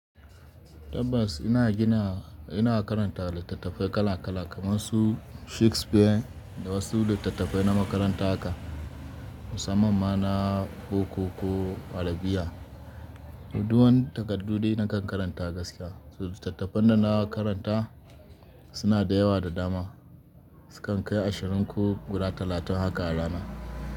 Tabbas ina gina, ina karanta littattafai kala kala kamar su Shakespeare, da wasu littattafai na makaranta haka, musamman ma na kokoko, arabiya. So du wani takardu dai nakan karanta gaskiya. Littattafan da na karanta, suna da yawa da dama. Sukan kai ashirin ko guda talatin haka a rana.